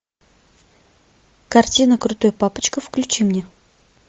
картина крутой папочка включи мне